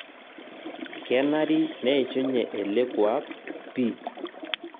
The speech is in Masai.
Kenari neishunye ele kuak pii